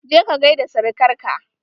Je ka gaida sirikar ka!